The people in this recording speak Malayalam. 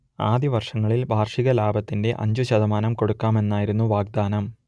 ആദ്യവർഷങ്ങളിൽ വാർഷിക ലാഭത്തിന്റെ അഞ്ചു ശതമാനം കൊടുക്കാമെന്നായിരുന്നു വാഗ്ദാനം